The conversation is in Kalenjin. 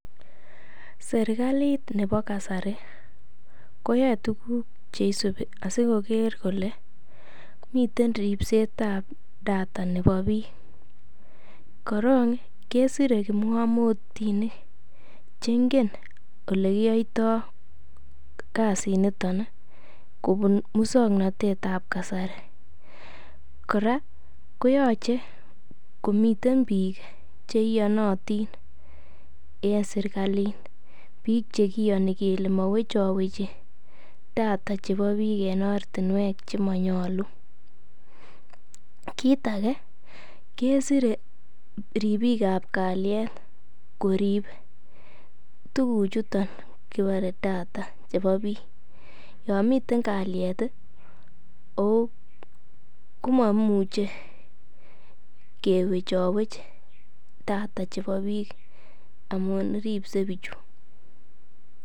Serkkalit nebo kasari koyoe tuguk che isubi sikoker kole miten ripsetab data chebo biik. Koorng kesire kipng'amootinik ch engen ole kiyoito kasinito kobun muswoknatet ab kasari kora koyoche komiten biik che iyonotin en serkalit. Biik ch ekiyoni kele mowechowechi data chebo biik en ortinwek chemonyolu. Kiit age kesire ribiik ab kalyet korib tuguchoto kibore data chebo biik. Yon miten kalyet komomuche kwechowech data chebo biik amun ribse bichu.